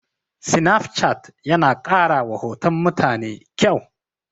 Sinafcat yana ƙarawa hoton mutane ƙyau.